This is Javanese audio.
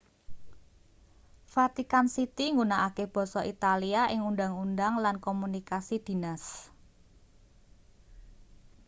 vatican city nggunakake basa italia ing undhang-undhang lan komunikasi dhines